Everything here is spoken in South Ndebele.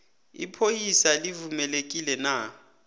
ipholisa livumelekile na